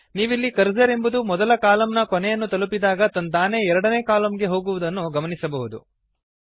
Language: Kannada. ನೀವಿಲ್ಲಿ ಕರ್ಸರ್ ಎಂಬುದು ಮೊದಲ ಕಾಲಮ್ ನ ಕೊನೆಯನ್ನು ತಲುಪಿದಾಗ ತಂತಾನೇ ಎರಡನೇ ಕಾಲಮ್ ಗೆ ಹೋಗುವುದನ್ನು ಗಮನಿಸಬಹುದು